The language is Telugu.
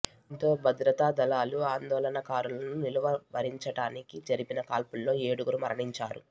దీంతో భద్రతా దళాలు ఆందోళనకారులను నిలువరించడానికి జరిపిన కాల్పుల్లో ఏడుగురు మరణించారు